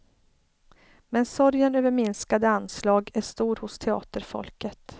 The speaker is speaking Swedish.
Men sorgen över minskade anslag är stor hos teaterfolket.